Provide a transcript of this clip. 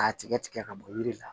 K'a tigɛ tigɛ ka bɔ yiri la